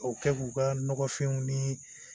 O kɛ k'u ka nɔgɔfinw nii